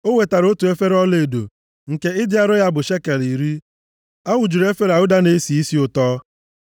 O wetara otu efere ọlaedo, nke ịdị arọ ya bụ shekel iri. A wụjuru efere a ụda na-esi isi ụtọ.